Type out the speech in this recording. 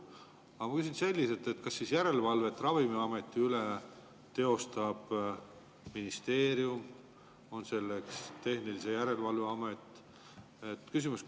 Aga ma küsin selliselt: kas järelevalvet Ravimiameti üle teostab ministeerium või teeb seda tehnilise järelevalve amet?